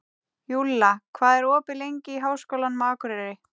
Júlla, hvað er opið lengi í Háskólanum á Akureyri?